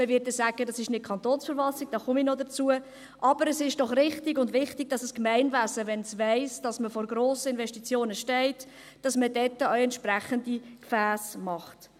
Man wird sagen, dies betreffe nicht die KV, dazu komme ich noch, aber es ist doch richtig und wichtig, dass ein Gemeinwesen, wenn es weiss, dass man vor grossen Investitionen steht, entsprechende Gefässe macht.